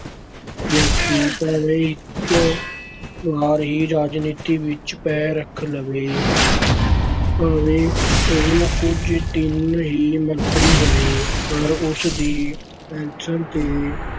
ਵਿਅਕਤੀ ਭਾਵੇਂ ਇੱਕ ਵਾਰ ਹੀ ਰਾਜਨੀਤੀ ਵਿੱਚ ਪੈਰ ਰੱਖ ਲਵੇ, ਭਾਵੇਂ ਉਹ ਕੁਝ ਦਿਨ ਹੀ ਮੰਤਰੀ ਬਣੇ ਪਰ ਉਸ ਦੀ ਪੈੱਨਸ਼ਨ ਤੇ